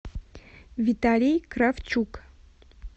виталий кравчук